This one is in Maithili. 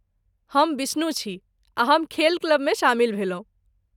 हम बिष्णु छी, आ हम खेल क्लबमे शामिल भेलहुँ।